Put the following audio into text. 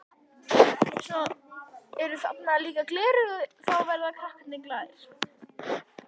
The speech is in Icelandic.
Svo eru þarna líka gleraugu og þá verða krakkarnir glaðir.